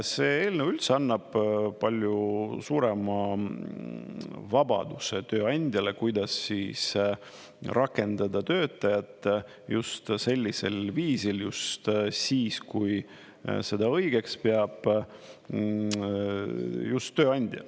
See eelnõu üldse annab palju suurema vabaduse tööandjale, kuidas rakendada töötajat just sellisel viisil just siis, kui seda õigeks peab just tööandja.